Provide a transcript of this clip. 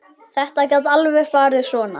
Þetta gat alveg farið svona.